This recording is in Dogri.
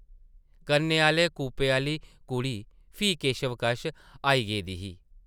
कन्नै आह्ले कूपे आह्ली कुड़ी फ्ही केशव कश आई गेदी ही ।